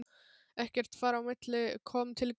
Ekkert þar á milli kom til greina.